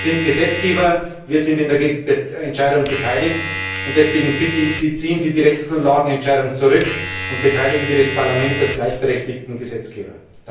Wir sind Gesetzgeber, wir sind an der Entscheidung beteiligt, und deswegen bitte ich Sie Ziehen Sie die Rechtsgrundlagenentscheidung zurück und beteiligen Sie das Parlament als gleichberechtigten Gesetzgeber!